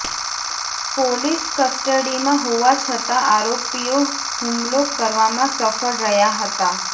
police કસ્ટડીમાં હોવા છતાં આરોપીઓ હુમલો કરવામાં સફળ રહ્યાં હતા